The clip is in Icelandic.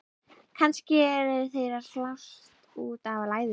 Kannski eru þeir að slást út af læðu?